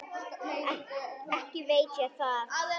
Ekki veit ég það.